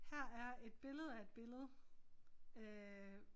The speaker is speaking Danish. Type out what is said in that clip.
Her er et billede af et billede øh